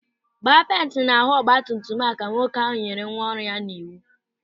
"Gbaa penti na ahụ ọgbatumtum a", Ka nwoke ahụ nyere nwa ọrụ ya n'iwu.